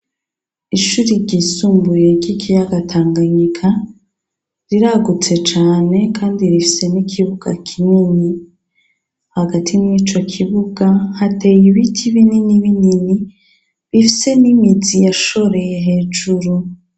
Ishure ryisumbuye ry'ikiyaga Tanganyika riragutse cane kandi rifise n'ikibuga kinini hagati mw'ico kibuga hateye ibiti binini binini bifise n'imizi yashoreye hejuru.